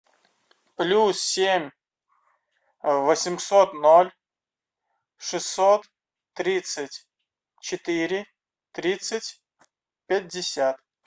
плюс семь восемьсот ноль шестьсот тридцать четыре тридцать пятьдесят